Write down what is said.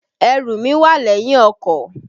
Ẹrù mí wà lẹ́yìn ọkọ̀.